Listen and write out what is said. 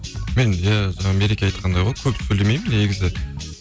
мен иә мереке айтқандай ғой көп сөйлемеймін негізі